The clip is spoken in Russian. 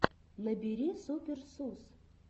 набери супер сус